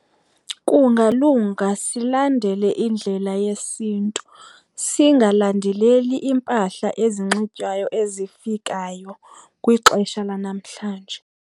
Kungalunga silandele indlela yesiNtu, singalandeleli iimpahla ezinxitywayo ezifikayo kwixesha lanamhlanje.